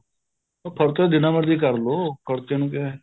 ਹਾਂ ਖਰਚਾ ਤਾਂ ਜਿੰਨਾ ਮਰਜੀ ਕਰਲੋ ਖਰਚੇ ਨੂੰ ਕਿਆ ਹੈ